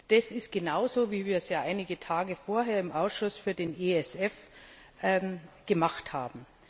Das ist genauso, wie wir es einige Tage vorher im Ausschuss für den ESF gemacht haben.